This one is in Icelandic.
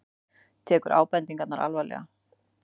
Tekur ábendingarnar alvarlega